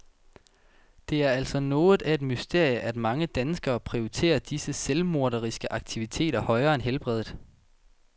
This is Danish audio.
Det er altså noget af et mysterium, at mange danskere prioriterer disse selvmorderiske aktiviteter højere end helbredet.